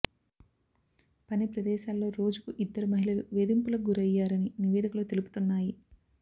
పని ప్రదేశాల్లో రోజుకు ఇద్దరు మహిళలు వేధింపులకు గురయ్యారని నివేదికలు తెలుపుతున్నాయి